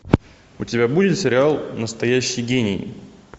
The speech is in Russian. у тебя будет сериал настоящий гений